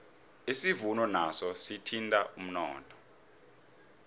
isivuno naso sithinta umnotho